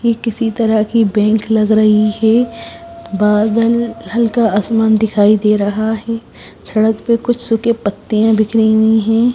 ये किसी तरह की बैंक लग रही है बादल हल्का आसमान दिखाई दे रहा है सड़क पे कुछ सूखे पत्तियां बिखरी हुई है।